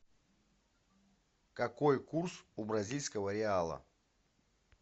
какой курс у бразильского реала